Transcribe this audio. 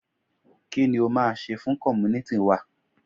kini o ma se fun community wa?